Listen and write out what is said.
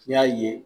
N'i y'a ye